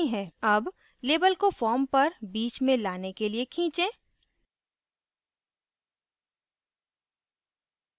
अब label को form पर बीच में लाने के लिए खीचें